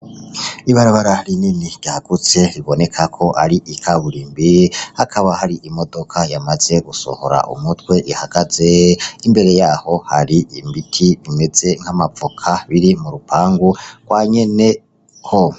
Ibarabara ri nini ryahagutse riboneka ko ari ikaburimbi akaba hari imodoka yamaze gusohora umutwe ihagaze imbere yaho hari imbiti umeze nk'amavoka biri mu rupangu rwa nyene ho.